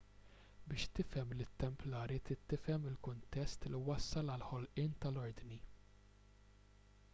biex tifhem lit-templari trid tifhem il-kuntest li wassal għall-ħolqien tal-ordni